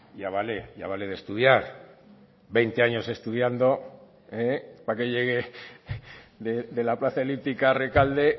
ya vale ya vale de estudiar veinte años estudiando para que llegue de la plaza elíptica a rekalde